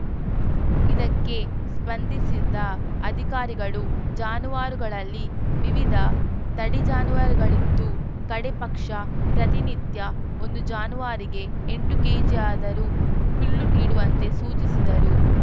ಇದಕ್ಕೆ ಸ್ಪಂದಿಸಿದ ಅಧಿಕಾರಿಗಳು ಜಾನುವಾರುಗಳಲ್ಲಿ ವಿವಿಧ ತಳಿ ಜಾನುವಾರುಗಳಿತ್ತು ಕಡೇ ಪಕ್ಷ ಪ್ರತಿನಿತ್ಯ ಒಂದು ಜಾನುವಾರಿಗೆ ಎಂಟು ಕೆಜಿಯಾದರೂ ಹುಲ್ಲು ನೀಡುವಂತೆ ಸೂಚಿಸಿದರು